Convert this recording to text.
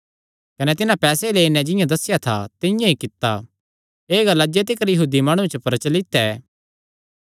कने तिन्हां पैसे लेई नैं जिंआं दस्सेया था तिंआं ई कित्ता एह़ गल्ल अज्जे तिकर यहूदी माणुआं च प्रचलित ऐ